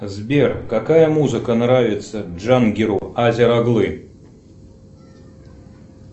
сбер какая музыка нравится джангиру азер оглы